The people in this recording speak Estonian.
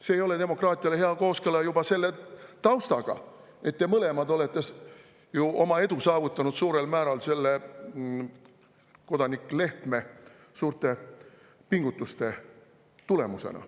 See ei ole demokraatiale hea kooskõla juba selle tausta tõttu: te mõlemad olete ju oma edu saavutanud suurel määral kodanik Lehtme suurte pingutuste tulemusena.